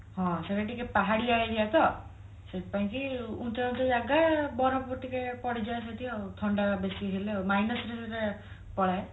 ହଁ ସେଟା ଟିକେ ପାହାଡିଆ aria ତ ସେଇଥିପାଇଁ କି ଉଚ୍ଚ ଉଚ୍ଚ ଜାଗା ବରଫ ଟିକେ ପଡିଯାଏ ସେଠି ଆଉ ଥଣ୍ଡା ବେଶୀ ହେଲେ ନହେଲେ ସେଠି